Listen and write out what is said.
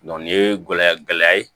nin ye gɛlɛya gɛlɛya ye